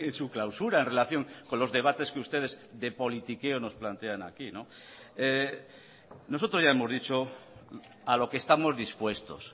su clausura en relación con los debates que ustedes de politiqueo nos plantean aquí nosotros ya hemos dicho a lo que estamos dispuestos